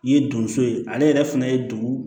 I ye donso ye ale yɛrɛ fana ye dugu